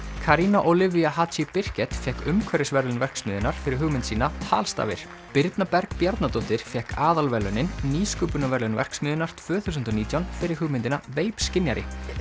Haji Birkett fékk umhverfisverðlaun verksmiðjunnar fyrir hugmynd sína tal stafir birna Berg Bjarnadóttir fékk aðalverðlaunin nýsköpunarverðlaun verksmiðjunnar tvö þúsund og nítján fyrir hugmyndina vape skynjari